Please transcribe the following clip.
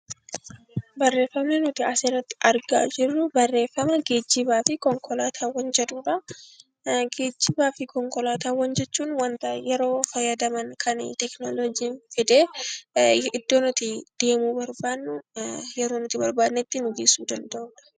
Geejjibaa fi konkolaataawwan jechuun wanta yeroo fayyadaman kan teekinooloojiin fide iddoo nuti deemuu barbaannu yeroo nuti barbaannetti nu geessuu danda'udha